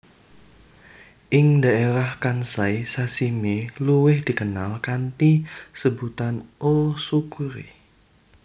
Ing dhaérah Kansai sashimi luwiih dikenal kanthi sebutan O tsukuri